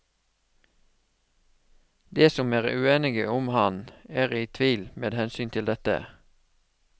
De som er uenige om ham, er i tvil med hensyn til dette.